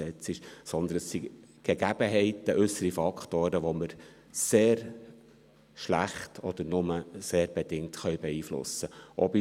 Aber es sind Gegebenheiten, äussere Faktoren, die wir sehr schlecht oder nur sehr bedingt beeinflussen können.